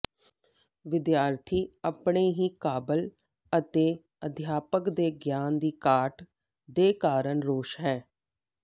ਵਿਦਿਆਰਥੀ ਆਪਣੇ ਹੀ ਕਾਬਲ ਅਤੇ ਅਧਿਆਪਕ ਦੇ ਗਿਆਨ ਦੀ ਘਾਟ ਦੇ ਕਾਰਨ ਰੋਸ ਹੈ